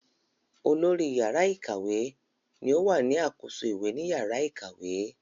Olórí yàrá ìkàwé ni o wà ní àkóso ìwé ni yàrá ìkàwé